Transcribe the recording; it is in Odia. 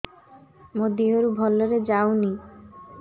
ମୋ ଦିହରୁ ଭଲରେ ଯାଉନି